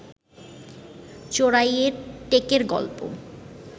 চোরাইয়ের টেকের গল্প